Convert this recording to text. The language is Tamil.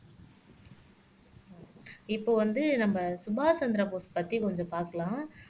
இப்போ வந்து நம்ம சுபாஷ் சந்திரபோஸ் பத்தி கொஞ்சம் பார்க்கலாம்